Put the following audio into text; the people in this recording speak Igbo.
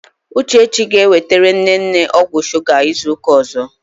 Uchechi ga-ewetere nne nne ọgwụ shuga izu ụka ọzọ.